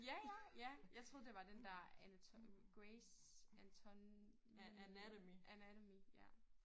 Ja ja ja jeg troede det var den dér Grey's Anatomy ja